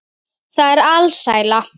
Það er alsæla.